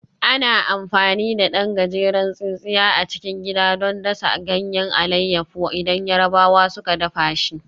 Ana amfani da ɗan gajeren tsintsiya a cikin gida don dasa ganyen alayyafo idan Yarabawa suka dafa shi